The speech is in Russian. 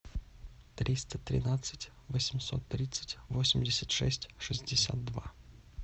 триста тринадцать восемьсот тридцать восемьдесят шесть шестьдесят два